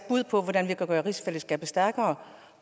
bud på hvordan vi kunne gøre rigsfællesskabet stærkere